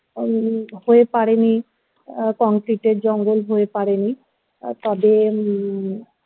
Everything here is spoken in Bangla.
হয়নি হয়ে পারি নি concrete এর জঙ্গল হয়ে পারি নি তবে